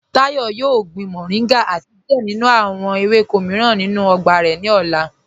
Táyọ̀ yóò gbìn mọ̀ríngà àti díẹ̀ nínú awọn èwékọ̀ míìràn nínú ọgbà ni ọlá.